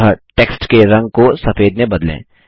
अतः टेक्स्ट के रंग को सफेद में बदलें